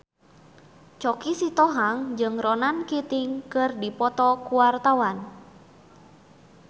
Choky Sitohang jeung Ronan Keating keur dipoto ku wartawan